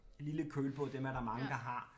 Lille kølbåd dem er der mange der har